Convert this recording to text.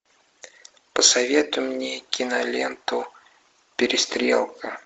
посоветуй мне киноленту перестрелка